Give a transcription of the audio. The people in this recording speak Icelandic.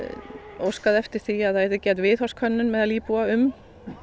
óskað eftir því að það yrði gerð viðhorfskönnun meðal íbúa um